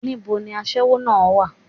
Ní bo ni aṣẹ́wó náà á wà?